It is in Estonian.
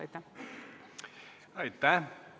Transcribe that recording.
Aitäh!